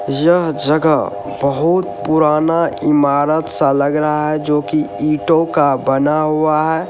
यह जगह बहुत पुराना इमारत सा लग रहा है जो की ईटों का बना हुआ है।